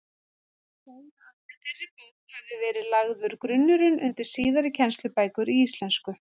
Má segja að með þeirri bók hafi verið lagður grunnurinn undir síðari kennslubækur í íslensku.